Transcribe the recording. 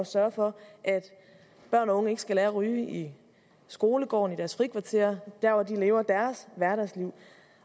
sørge for at børn og unge ikke skal lære at ryge i skolegården i deres frikvarter der hvor de lever deres hverdagsliv